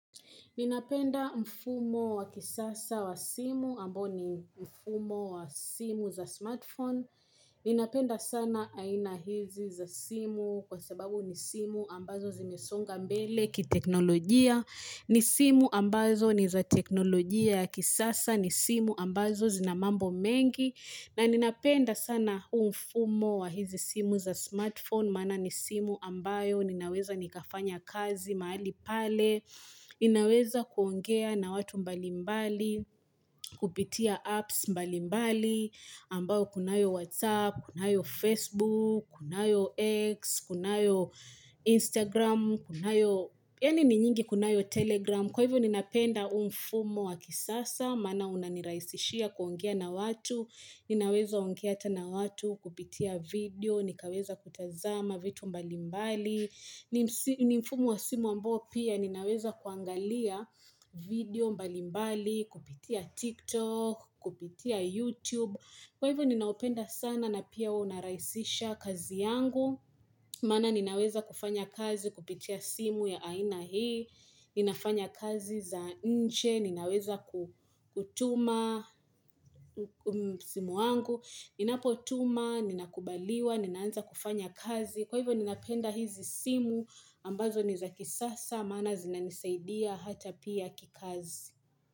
Ninapenda mfumo wa kisasa wa simu ambo ni mfumo wa simu za smartphone. Ninapenda sana aina hizi za simu kwa sababu ni simu ambazo zimesonga mbele ki teknolojia. Ni simu ambazo ni za teknolojia ya kisasa ni simu ambazo zinamambo mengi. Na ninapenda sana huu mfumo wa hizi simu za smartphone maana ni simu ambayo ninaweza nikafanya kazi mahali pale. Ninaweza kuongea na watu mbalimbali, kupitia apps mbalimbali. Ambao kunayo Whatsapp, kunayo Facebook, kunayo X, kunayo Instagram kunayo yaani ni nyingi kunayo Telegram. Kwa hivyo ninapenda huu umfumo wa kisasa Maana unanirahisishia kuongea na watu. Ninaweza ongea hata na watu, kupitia video nikaweza kutazama vitu mbalimbali ni ni mfumo wa simu ambao pia ninaweza kuangalia video mbalimbali, kupitia TikTok, kupitia YouTube. Kwa hivyo ninaupenda sana na pia unarahisisha kazi yangu. Maana ninaweza kufanya kazi kupitia simu ya aina hii. Ninafanya kazi za nje, ninaweza ku kutuma simu yangu. Ninapo tuma, ninakubaliwa, ninaanza kufanya kazi. Kwa hivyo ninapenda hizi simu ambazo niza kisasa maana zinanisaidia hata pia kikazi.